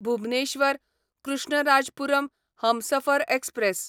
Bhubaneswar Krishnarajapuram Humsafar express